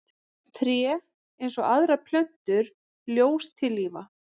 Tré, eins og aðrar plöntur, ljóstillífa.